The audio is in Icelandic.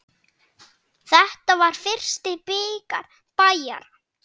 Þetta var fyrsti bikar Bæjara.